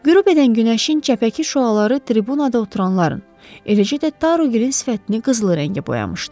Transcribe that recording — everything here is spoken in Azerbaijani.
Qürub edən günəşin çəpəki şüaları tribunada oturanların, eləcə də Taru Gilin sifətini qızılı rəngə boyamışdı.